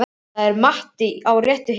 Þar er Matti á réttri hillu.